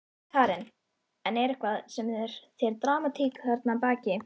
Karen: En er eitthvað, er einhver dramatík þarna að baki?